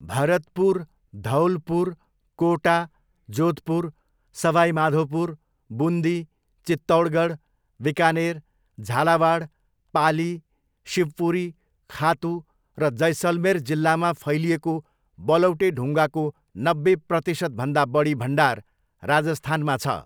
भरतपुर, धौलपुर, कोटा, जोधपुर, सवाई माधोपुर, बुन्दी, चित्तौडगढ, बिकानेर, झालावाड, पाली, शिवपुरी, खातु र जैसलमेर जिल्लामा फैलिएको बलौटे ढुङ्गाको नब्बे प्रतिशतभन्दा बढी भण्डार राजस्थानमा छ।